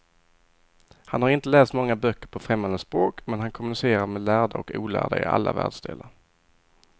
Han har inte läst många böcker på främmande språk, men han kommunicerar med lärda och olärda i alla världsdelar.